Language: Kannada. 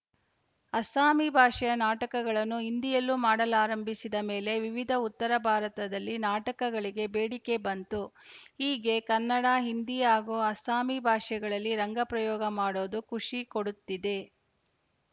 ಅಸ್ಸಾಮಿ ಭಾಷೆಯ ನಾಟಕಗಳನ್ನು ಹಿಂದಿಯಲ್ಲೂ ಮಾಡಲಾರಂಭಿಸಿದ ಮೇಲೆ ವಿವಿಧ ಉತ್ತರ ಭಾರತದಲ್ಲಿ ನಾಟಕಗಳಿಗೆ ಬೇಡಿಕೆ ಬಂತು ಹೀಗೆ ಕನ್ನಡ ಹಿಂದಿ ಹಾಗೂ ಅಸ್ಸಾಮಿ ಭಾಷೆಗಳಲ್ಲಿ ರಂಗಪ್ರಯೋಗ ಮಾಡೋದು ಖುಷಿ ಕೊಡುತ್ತಿದೆ